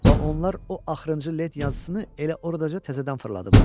Bax onlar o axırıncı lent yazısını elə oradaca təzədən fırladıblar.